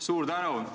Suur tänu!